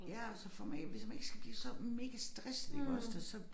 Ja og så for man hvis man ikke skal blive så megastresset iggås det så